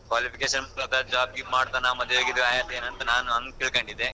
Qualification job ಮಾಡ್ತಾನ ಮದ್ವೆ ಗಿದ್ವೆ ಆಗೇತೆನಾ ನಾನ್ ಅಂಗ್ ತಿಳ್ಕೊಂಡಿದ್ದೆ.